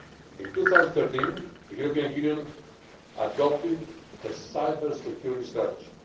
In 2013 the European Union adopted a cybersecurity strategy.